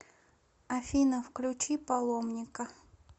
афина включи паломника